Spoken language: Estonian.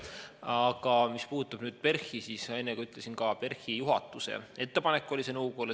Aga mis puudutab PERH-i, siis nagu ma enne ütlesin, oli see PERH-i juhatuse ettepanek nõukogule.